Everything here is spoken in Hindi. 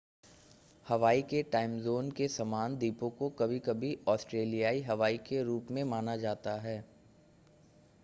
हवाई के टाइम ज़ोन के समान द्वीपों को कभी-कभी ऑस्ट्रेलियाई हवाई के रूप में माना जाता है